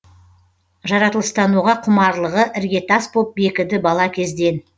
жаратылыстануға құмарлығы іргетас боп бекіді бала кезден